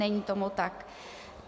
Není tomu tak.